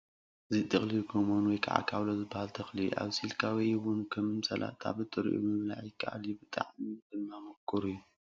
እዚ ጥቕልል ጐመን ወይ ካብሎ ዝበሃል ተኽሊ እዩ፡፡ ኣብሲልካ ወይ እውን ከም ሰላጣ ብጥሪኡ ምብላዕ ይከኣል እዩ፡፡ ብጣዕሚ ድማ ምቑር እዩ፡፡